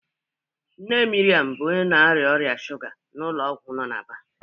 Nne Miriam bụ onye na-arịa ọrịa shuga n'ụlọ ọgwụ no na Aba.